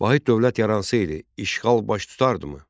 Vahid dövlət yaransaydı, işğal baş tutardımı?